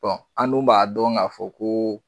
Bɔn an dun b'a dɔn k'a fɔ ko